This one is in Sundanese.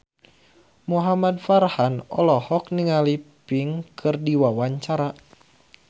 Muhamad Farhan olohok ningali Pink keur diwawancara